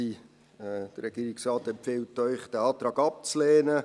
Der Regierungsrat empfiehlt Ihnen, diesen Antrag abzulehnen.